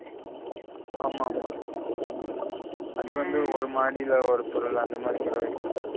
ஆமாமா அது வந்து ஒரு மாடில ஒரு பொருளா அந்த மாதி கூட வெக்கலாம்